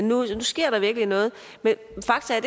nu sker der virkelig noget men fakta er